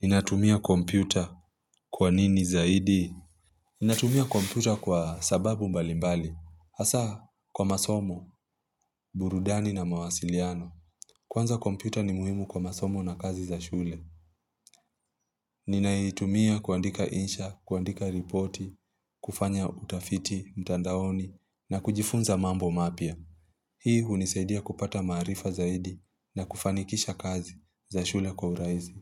Ninatumia kompyuta kwa nini zaidi? Ninatumia kompyuta kwa sababu mbalimbali. Hasa, kwa masomo, burudani na mawasiliano. Kwanza kompyuta ni muhimu kwa masomo na kazi za shule. Ninaitumia kuandika insha, kuandika ripoti, kufanya utafiti, mtandaoni, na kujifunza mambo mapya. Hii hunisaidia kupata maarifa zaidi na kufanikisha kazi za shule kwa urahisi.